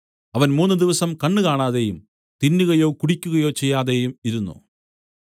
അവൻ മൂന്നുദിവസം കണ്ണ് കാണാതെയും തിന്നുകയോ കുടിയ്ക്കുകയോ ചെയ്യാതെയും ഇരുന്നു